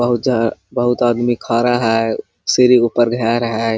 बहुत जहा बहुत आदमी खाडा है सीढ़ी ऊपर घर हैं।